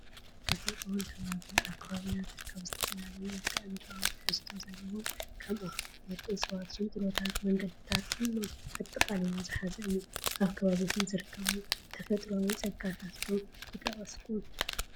ተፈጥሮን ከባብን፡- ኣብ ከባቢና ዝርከቡ ዝተፈላለዩ መልክኣ-ምድራዊ ትሕዝቶ ዘለዎም ከም ኣኽራናት፣ እፅዋት፣ ሽንጥሮታትን መንገዲታት ኩሎም ኣጠቃሊሉ ዝሓዘ እዩ፡፡ ካብ ከባቢኹም ዝርከቡ ተፈጥሮኣዊ ፀጋታት ዶ ምጠቐስኩም?